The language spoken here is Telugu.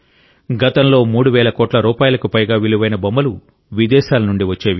గతంలో 3 వేల కోట్ల రూపాయలకు పైగా విలువైన బొమ్మలు విదేశాల నుంచి వచ్చేవి